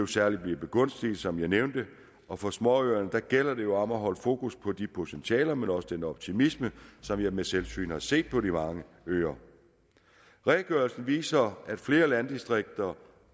særligt begunstiget som jeg nævnte og for småøerne gælder det jo om at holde fokus på de potentialer men også den optimisme som jeg ved selvsyn har set på de mange øer redegørelsen viser at flere landdistrikter